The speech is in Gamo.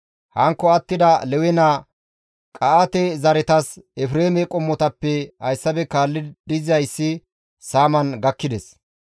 Hankko attida Lewe naa Qa7aate zaretas Efreeme qommotappe hayssafe kaalli dizayssi saaman gakkides.